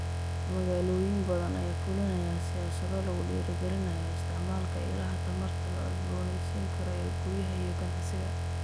Magaalooyin badan ayaa fulinaya siyaasado lagu dhiirigelinayo isticmaalka ilaha tamarta la cusboonaysiin karo ee guryaha iyo ganacsiga.